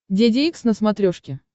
деде икс на смотрешке